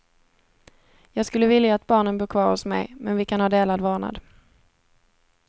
Jag skulle vilja att barnen bor kvar hos mig, men vi kan ha delad vårdnad.